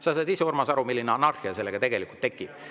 " Sa saad, Urmas, ise aru, milline anarhia siis tegelikult tekiks.